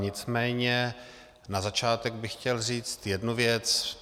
Nicméně na začátek bych chtěl říct jednu věc.